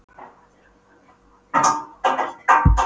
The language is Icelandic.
Maður þarf nú aðeins að fá að melta þetta.